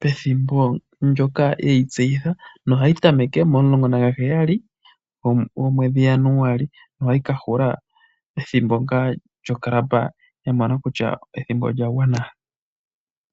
pethimbo ndjoka yeyi tseyitha. Ohayi tameke 17 Januali, ohayi ka hula pethimbo lyoClub yamona kutya ethimbo olya gwana .